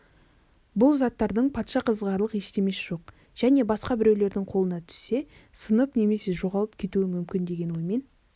бұл заттардың патша қызығарлық ештемесі жоқ және басқа біреудің қолына түссе сынып немесе жоғалып кетуі мүмкін деген оймен